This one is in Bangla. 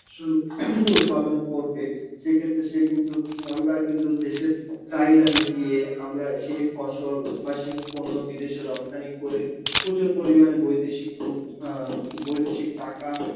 ফসল উৎপাদন করবে, সেই ক্ষেত্রে সে কিন্তু~ আঁ আমরা কিন্তু দেশের চাহিদা মিটিয়ে, আমরা সেই ফসল বা সেই পণ্য বিদেশে রপ্তানি করে প্রচুর পরিমাণে বৈদেশিক রূপ~ আঁ বৈদেশিক টাকা